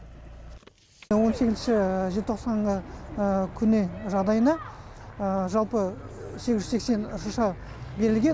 он сегізінші желтоқсанғы күні жағдайына жалпы сегіз жүз сексен шырша берілген